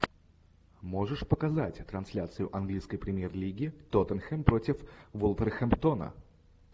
можешь показать трансляцию английской премьер лиги тоттенхэм против вулверхэмптона